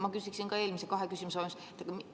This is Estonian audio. Ma küsiksin ka kahe eelmise küsimuse teemal.